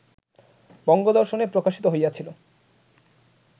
বঙ্গদর্শনে প্রকাশিত হইয়াছিল